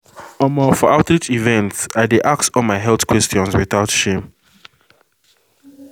omoh for outreach events i dey ask all my health questions without shame